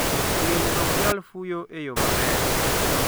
Winy ok nyal fuyo e yo maber.